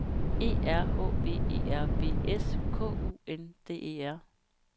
E R H V E R V S K U N D E R